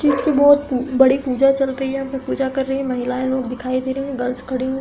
तीज की बोहत बड़ी पूजा चल रही है यहाँ पे । पूजा कर रही हैं महिलाएँ। लोग दिखाई दे रहे हैं। गर्ल्स खड़ी हु --